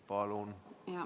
Palun!